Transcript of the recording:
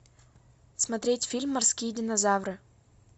смотреть фильм морские динозавры